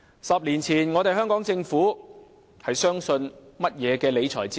十年前，香港政府相信甚麼理財哲學？